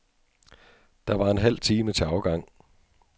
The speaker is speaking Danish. Der var en halv time til afgang.